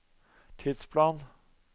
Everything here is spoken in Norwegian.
tidsplan